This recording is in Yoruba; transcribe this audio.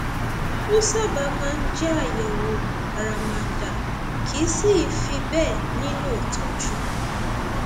ó sábà máa ń jẹ àyẹwò àràmàǹdà kìí sì í fi bẹẹ nílò ìtọjú